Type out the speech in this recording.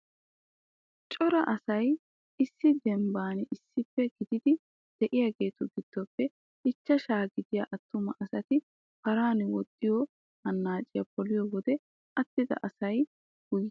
Cora asay issi dembban issippe gididi de'iyageetu giddoppe ichchashaa gidiya attuma asati paran woxxiyo annaaciya poliyo wode attida asay guyera eta minttettees.